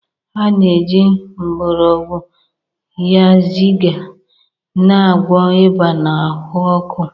A na-eji mgborogwu Yaziya na-agwọ ịba na ahụ ọkụ.